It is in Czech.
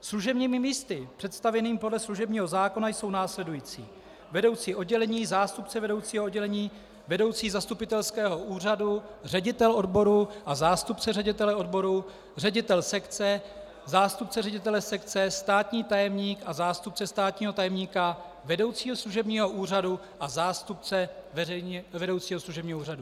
Služebními místy představených podle služebního zákona jsou následující: vedoucí oddělení, zástupce vedoucího oddělení, vedoucí zastupitelského úřadu, ředitel odboru a zástupce ředitele odboru, ředitel sekce, zástupce ředitele sekce, státní tajemník a zástupce státního tajemníka, vedoucí služebního úřadu a zástupce vedoucího služebního úřadu.